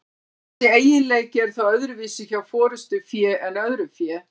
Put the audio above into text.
Þessi eiginleiki er þó öðruvísi hjá forystufé en öðru fé.